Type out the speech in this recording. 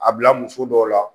A bila muso dɔw la